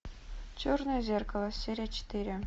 черное зеркало серия четыре